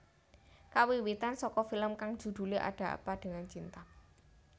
Kawiwitan saka film kang judhulé Ada Apa dengan Cinta